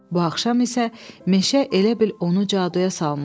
Bu axşam isə meşə elə bil onu caduya salmışdı.